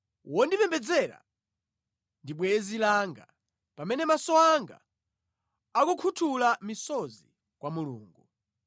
Wondipembedzera ndi bwenzi langa, pamene maso anga akukhuthula misozi kwa Mulungu;